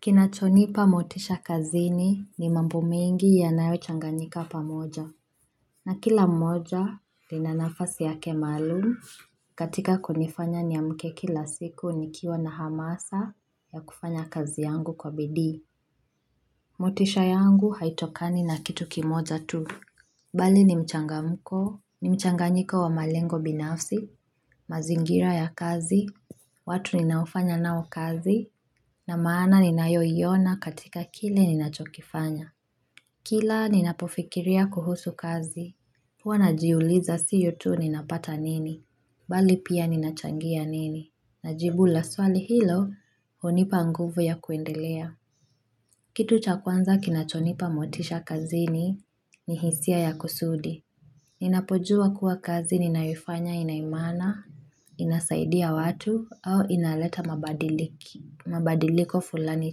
Kinachonipa motisha kazini ni mambu mingi ya nayo changanyika pamoja. Na kila mmoja, lina nafasi yake maalumu katika kunifanya ni amke kila siku nikiwa na hamasa ya kufanya kazi yangu kwa bidii. Motisha yangu haitokani na kitu kimoja tu. Bali ni mchangamko, ni mchanganyiko wa malengo binafsi, mazingira ya kazi, watu ninaofanya nao kazi na maana ninayoiona katika kile ninachokifanya. Kila ninapofikiria kuhusu kazi. Kwa najiuliza siyo tu ninapata nini. Bali pia ninachangia nini. Najibula swali hilo honipa nguvu ya kuendelea. Kitu cha kwanza kinachonipa motisha kazini ni hisia ya kusudi. Ninapojua kuwa kazi ninayoifanya inaimana, inasaidia watu au inaleta mabadiliko fulani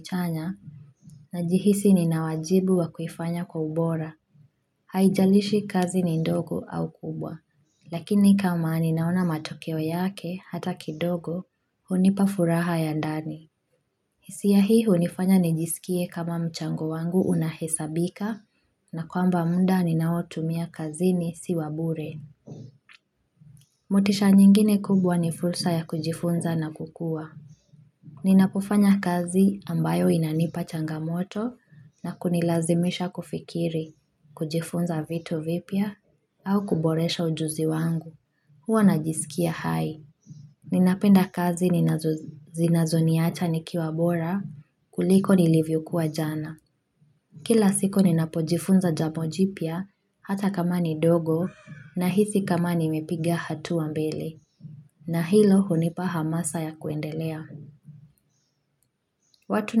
chanya na jihisi ninawajibu wakufanya kwa ubora haijalishi kazi ni ndogo au kubwa lakini kama ninaona matokeo yake hata kidogo hunipa furaha ya ndani hisia hii hunifanya nijisikie kama mchango wangu unahesabika na kwamba muda ninaotumia kazi ni si wa bure motisha nyingine kubwa ni fursa ya kujifunza na kukua. Ninapofanya kazi ambayo inanipa changamoto na kunilazimisha kufikiri kujifunza vito vipya au kuboresha ujuzi wangu. Huwa najisikia hai. Ninapenda kazi ninazunia cha nikiwa bora kuliko nilivyokua jana. Kila siko ninapojifunza jambo jipya hata kama ni ndogo nahisi kama ni mepiga hatua mbele. Na hilo hunipa hamasa ya kuendelea. Watu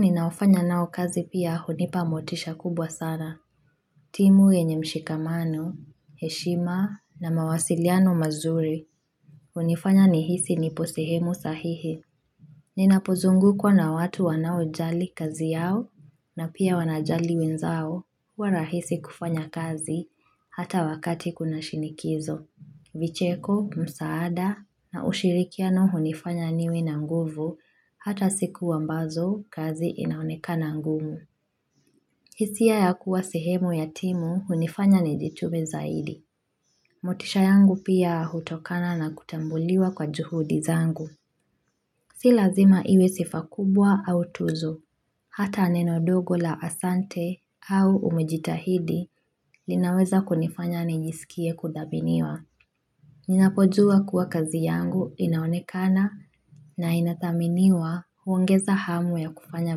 ninaofanya nao kazi pia hunipa motisha kubwa sana. Timu yenye mshikamano, heshima na mawasiliano mazuri hunifanya nihisi nipo sehemu sahihi. Ninapozungukwa na watu wanaojali kazi yao na pia wanajali wenzao wa rahisi kufanya kazi hata wakati kuna shinikizo. Vicheko, msaada na ushirikiano hunifanya niwe na nguvu hata sikuwa mbazo kazi inaonekana ngumu. Hisia ya kuwa sehemu yatimu hunifanya nijitube zaidi. Motisha yangu pia hutokana na kutambuliwa kwa juhudi zangu. Si lazima iwe sifa kubwa au tuzo. Hata ni ndogo la asante au umejitahidi linaweza kunifanya nijisikie kudhaminiwa. Ninapodzua kuwa kazi yangu inaonekana na inataminiwa huongeza hamu ya kufanya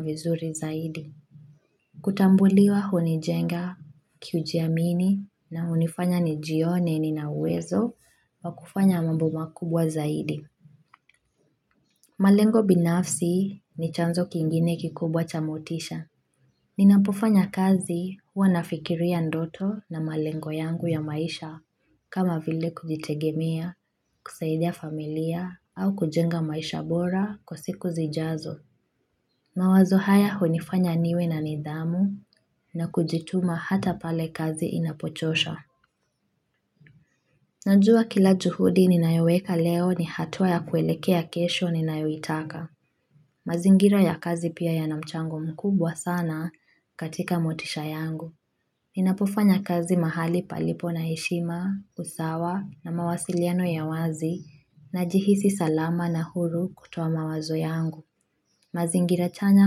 vizuri zaidi. Kutambuliwa hunijenga kiujiamini na hunifanya nijione ininawezo wa kufanya mambu makubwa zaidi. Malengo binafsi ni chanzo kingine kikubwa cha motisha. Ninapofanya kazi wanafikiria ndoto na malengo yangu ya maisha kama vile kujitegemea, kusaidia familia au kujenga maisha bora kwa siku zijazo. Mawazo haya hunifanya niwe na nidhamu na kujituma hata pale kazi inapochosha. Najua kila juhudi ninayoweka leo ni hatua ya kuelekea kesho ninayoitaka. Mazingira ya kazi pia yana mchango mkubwa sana katika motisha yangu. Ninapofanya kazi mahali palipo na heshima, usawa na mawasiliano ya wazi najihisi salama na huru kutoa mawazo yangu. Mazingirachanya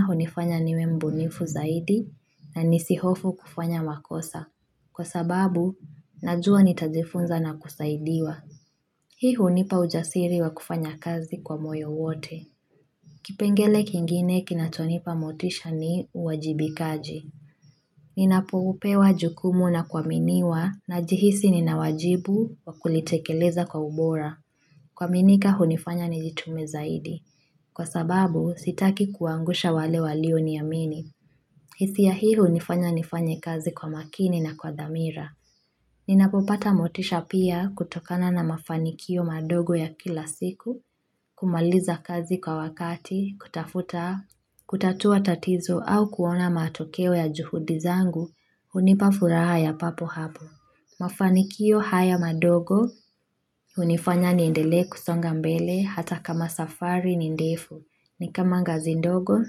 honifanya niwe mbunifu zaidi na nisihofu kufanya wakosa. Kwa sababu, najua nitajifunza na kusaidiwa. Hii hunipa ujasiri wa kufanya kazi kwa moyo wote. Kipengele kingine kinatonipa motisha ni uwajibikaji. Ninapopewa jukumu na kuaminiwa na jihisi ninawajibu waku litekeleza kwa ubora. Kuaminika hunifanya nijitume zaidi. Kwa sababu sitaki kuangusha wale walioniyamini. Hisia hii hunifanya nifanye kazi kwa makini na kwa dhamira. Ninapopata motisha pia kutokana na mafanikio madogo ya kila siku, kumaliza kazi kwa wakati, kutafuta, kutatua tatizo au kuona matokeo ya juhudi zangu hunipa furaha ya papo hapo mafanikio haya madogo unifanya niendele kusonga mbele hata kama safari ni ndefu ni kama ngazi ndogo.